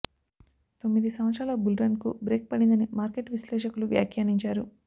తొమ్మిది సంవత్సరాల బుల్ రన్కు బ్రేక్ పడిందని మార్కెట్ విశ్లేషకులు వ్యాఖ్యానించారు